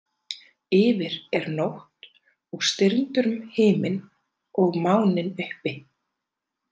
Yfir er nótt og stirndur himinn og máninn uppi.